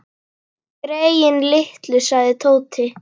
Greyin litlu sagði Tóti.